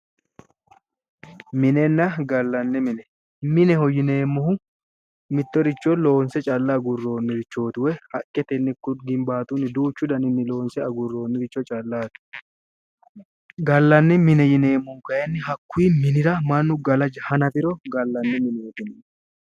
minenna gallanni mine mineho yineemmohu mittoricho loonse calla agurroonnirichooti woyi haqqetenni ginbaatunni loonse agurroonniricho callaati gallanni mine yineemmohu kayiinni hakkunni minira mannu gala hanafiro gallanni mineeti yinanni.